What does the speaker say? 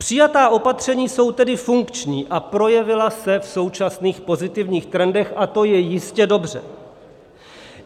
Přijatá opatření jsou tedy funkční a projevila se v současných pozitivních trendech a to je jistě dobře.